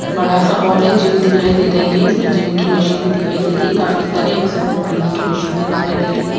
बड़ा सा हॉल है जिम दिखाई दे रही है इसमें जिम की मशीनें दिखाई दे रही है काफी सारे एक्सरसाइज करने की मशीनें दिखाई दे रही है।